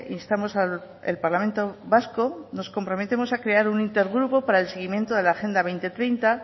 instamos al parlamento vasco nos comprometamos a crear un intergupo para el seguimiento de agenda dos mil treinta